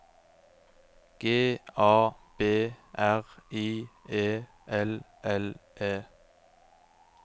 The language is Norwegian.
G A B R I E L L E